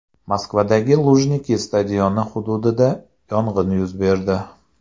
Moskvadagi Lujniki stadioni hududida yong‘in yuz berdi.